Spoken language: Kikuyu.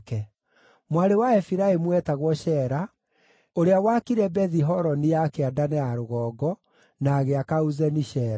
Mwarĩ wa Efiraimu eetagwo Sheera, ũrĩa waakire Bethi-Horoni ya kĩanda na ya rũgongo, na agĩaka Uzeni-Sheera.